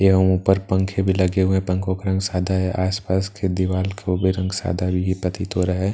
यहां ऊपर पंखे भी लगे हुए हैं पंखों का रंग सदा है आस-पास के दीवाल वो भी रंग सादा यही प्रतीत हो रहा है।